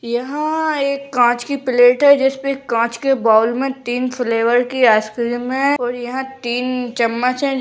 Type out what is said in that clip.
यहाँ एक कांच की प्लेट है जिसमे कांच के बाउल में तीन फ्लेवर की आइसक्रीम है और यहाँ तीन चम्मच हैं जिन --